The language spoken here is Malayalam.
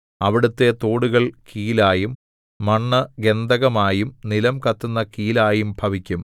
അവിടത്തെ തോടുകൾ കീലായും മണ്ണ് ഗന്ധകമായും നിലം കത്തുന്ന കീലായും ഭവിക്കും